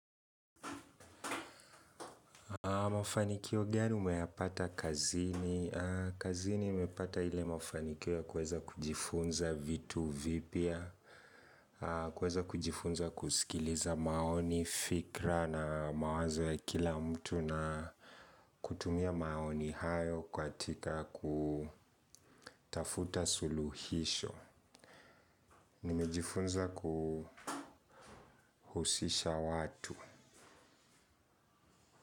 Mafanikio gani umeyapata kazini. Kazini nimepata ile mafanikio ya kuweza kujifunza vitu vipya. Kuweza kujifunza kusikiliza maoni, fikira na mawazo ya kila mtu na kutumia maoni hayo katika kutafuta suluhisho. Nimejifunza kuhusisha watu.